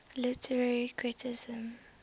literary criticism